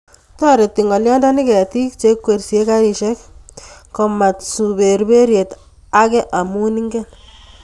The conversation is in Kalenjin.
Toreti ngolyondoni ketik che ikweryei garisiech Komatsu berberiet age amu ingen